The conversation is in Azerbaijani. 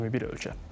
21 ölkə.